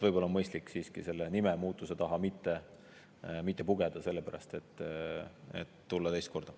Võib-olla on mõistlik siiski selle nimemuutuse taha mitte pugeda selleks, et tulla teist korda.